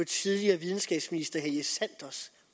tidligere videnskabsminister herre helge sanders